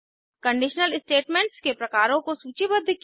conditional statements के प्रकारों को सूचीबद्ध किया